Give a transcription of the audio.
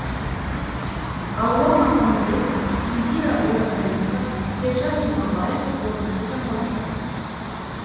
алуа маханбет индира оразалинова сержан жұмабаев қорытынды жаңалықтар